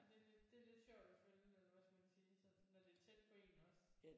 Det det det er lidt det er lidt sjovt at følge med hvad skal man sige sådan når det er tæt på en også